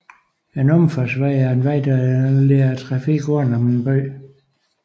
En omfartsvej er en vej der leder trafikken udenom en by